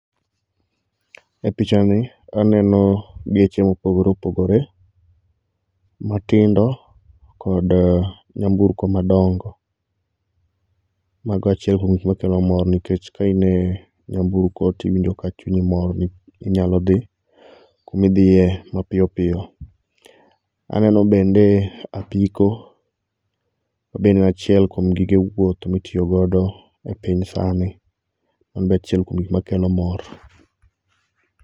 E pichani aneno geche ma opogore opogore, matindo kod nyamburko madongo, mago e achiel kuom gik makelo mor nikech ka inie nyamburko to iwinjo ka chunyi mor inyalo thi kumithiye mapiyo piyo, aneno bende apiko ma be en achiel kuom gige wuoth mitiyogodo e piny sani embe en achiel kuom gik makelo mor.